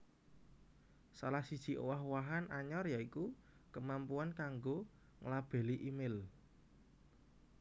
Salah siji owah owahan anyar ya iku kemampuan kanggo nglabeli email